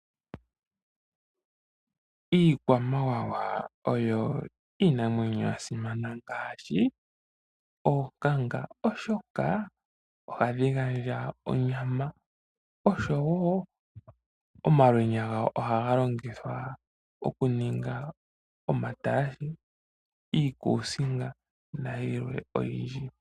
Iikwamawawa oyo iinamwenyo yasimana, ngaashi oonkanga, oshoka ohadhigandja onyama oshowo omalwenya ngoka hagalongithwa okuninga omatalashe, iikusinga nayilwe oyindji.